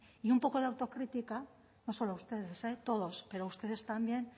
y un poco de autocrítica no solo a ustedes todos pero ustedes también